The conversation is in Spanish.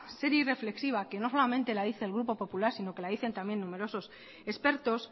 seria y reflexiva que no solamente la dice el grupo popular sino que la dicen también numeroso expertos